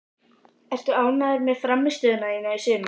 Ertu ánægður með frammistöðu þína í sumar?